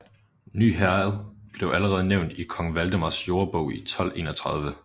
Ny Herred blev allerede nævnt i kong Valdemars Jordebog i 1231